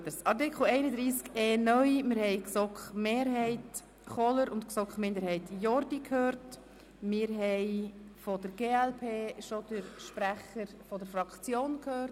Zu Artikel 31e (neu) haben wir gestern bereits Grossrat Kohler für die GSoK-Mehrheit, Grossrat Jordi für die GSoK-Minderheit sowie den Sprecher der glpFraktion gehört.